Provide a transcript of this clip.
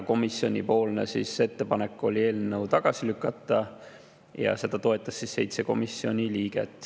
Komisjoni ettepanek oli eelnõu tagasi lükata ja seda toetas 7 komisjoni liiget.